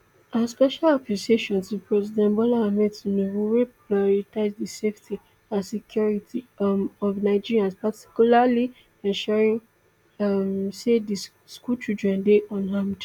our special appreciation to president bola ahmed tinubu wey pioritise di safety and security um of nigerians and particularly ensuring um say di school children dey unharmed